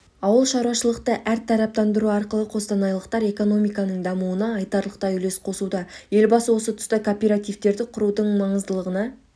ауыл шаруашылықты әртараптандыру арқылы қостанайлықтар экономиканың дамуына айтарлықтай үлес қосуда елбасы осы тұста кооперативтерді құрудың маңыздылығына